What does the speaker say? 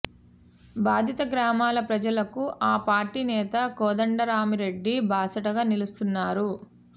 బాధిత గ్రామాల ప్రజలకు ఆ పార్టీ నేత కోదండరామిరెడ్డి బాసటగా ని లుస్తున్నారు